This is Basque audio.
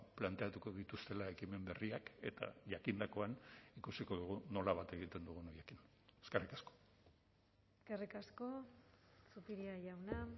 planteatuko dituztela ekimen berriak eta jakindakoan ikusiko dugu nola bat egiten dugun eskerrik asko eskerrik asko zupiria jauna